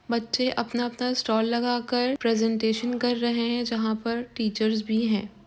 बच्चे अपना-अपना स्टाल लगाकर प्रेजेंटेशन कर रहे हैं जहां पर टीचर्स भी हैं।